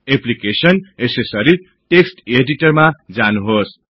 application GT accessories GT text इडिटरमा जानुहोस्